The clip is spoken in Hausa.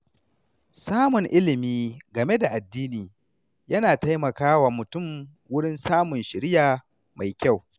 Samun ilimi game da addini yana taimakawa mutum wurin samun shiriya mai kyau.